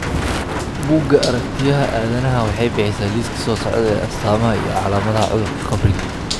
Buugga Aragtiyaha Aadanaha waxay bixisaa liiska soo socda ee astamaha iyo calaamadaha cudurka qabriga.